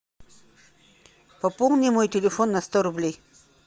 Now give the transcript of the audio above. пополни мой телефон на сто рублей